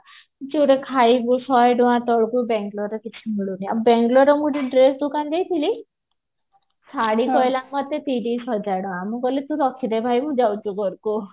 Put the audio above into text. ଯୋଉଠି ଖାଇବୁ ଶହେ ଟଙ୍କା ତଳକୁ ବେଙ୍ଗେଲୋର ରେ କିଛି ମିଳୁନି ଆଉ ବେଙ୍ଗେଲୋର ର ମୁଁ ଗୋଟେ dress ଦୋକାନ ଯାଇଥିଲି ଶାଢୀ କହିଲା ମତେ ତିରିଶ ହଜାର ଟଙ୍କା ମୁଁ କହିଲି ତୁ ରଖିଦେ ଭାଇ ମୁଁ ଯାଉଛି ଘରକୁ